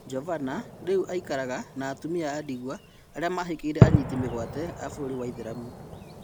Jovana rĩu aikaraga na atumia a-ndigwa arĩa mahikĩire anyiti mĩgwate a bũrũri wa aithĩramu.